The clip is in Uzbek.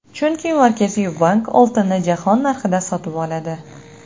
Chunki Markaziy bank oltinni jahon narxida sotib oladi.